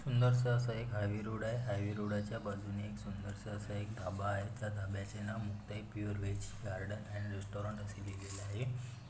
सुंदरसा असा एक highway road आहे हाय वे रोडाच्या बाजूने एक सुंदरसा असा एक ढाबा आहे त्या ढाब्याचे नाव Muktai pure veg garden and restaurant असे लिहलेले आहे.